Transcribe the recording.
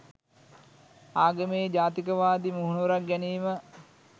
ආගමේ ජාතිකවාදී මුහුණුවරක් ගැනීම